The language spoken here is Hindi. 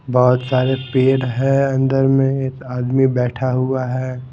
बहुत सारे पेड़ हैं अंदर में एक आदमी बैठा हुआ है।